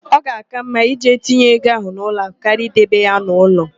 Ọ ga-àká mma ije tinye ego ahụ n'ụlọakụ karịa idebe ya n'ụlọ.